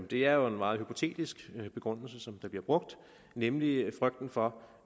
det er jo en meget hypotetisk begrundelse der bliver brugt nemlig frygten for